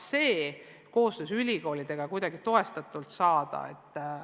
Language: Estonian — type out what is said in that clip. Seda on võimalik koostöös ülikoolidega toetada.